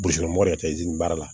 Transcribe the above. baara la